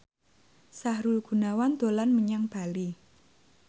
Sahrul Gunawan dolan menyang Bali